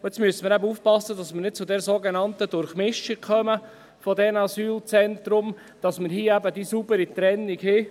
Nun müssen wir eben aufpassen, dass wir nicht zur sogenannten Durchmischung der Asylzentren gelangen, sondern, dass wir die saubere Trennung haben.